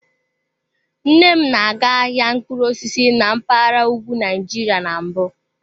Nne m na-aga ahịa mkpụrụ osisi na mpaghara ugwu Nigeria na mbụ.